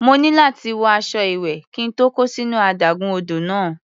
Mo ní láti wọ aṣọ ìwẹ̀ kí n tó kó sínú adágún odò náà.